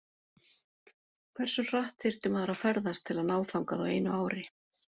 Hversu hratt þyrfti maður að ferðast til að ná þangað á einu ári?.